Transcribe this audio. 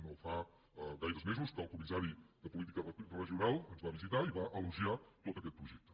no fa gaires mesos que el comissari de política regional ens va visitar i va elogiar tot aquest projecte